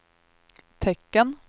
tecken